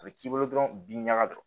A bɛ k'i bolo dɔrɔn bin ɲaga de don